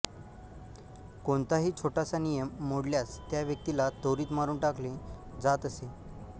कोणताही छोटासा नियम मोडल्यास त्या व्यक्तीला त्वरित मारून टाकले जात असे